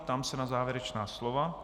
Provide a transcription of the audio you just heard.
Ptám se na závěrečná slova.